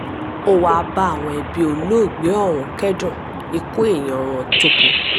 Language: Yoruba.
ó wáá bá àwọn ẹbí olóògbé ọ̀hún kẹ́dùn ikú èèyàn wọn tó kú